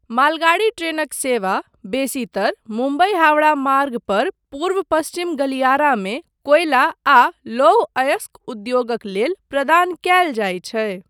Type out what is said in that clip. मालगाड़ी ट्रेनक सेवा बेसीतर मुम्बई हावड़ा मार्ग पर पूर्व पश्चिम गलियारामे कोयला आ लौह अयस्क उद्योगक लेल प्रदान कयल जाइत छै।